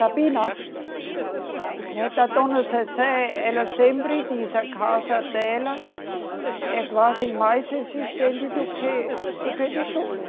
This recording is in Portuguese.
Sabina? Sim? Né, da Dona Zezé ela sempre diz a casa dela é quase mais resistente do que, do que Tijolo.